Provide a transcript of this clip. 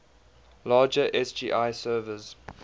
larger sgi servers